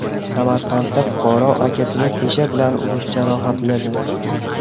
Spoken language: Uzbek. Samarqandda fuqaro akasini tesha bilan urib jarohatladi.